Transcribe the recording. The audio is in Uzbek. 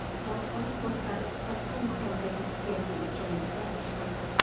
Bojxona postlarida katta miqdordagi spirtli ichimliklar ushlandi.